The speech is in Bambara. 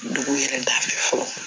Dugu yɛrɛ da fɛ fɔlɔ